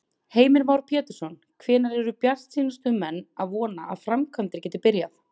Heimir Már Pétursson: Hvenær eru bjartsýnustu menn að vona að framkvæmdir geti byrjað?